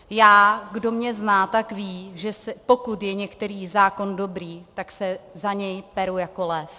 Já, kdo mě zná, tak ví, že pokud je některý zákon dobrý, tak se za něj peru jako lev.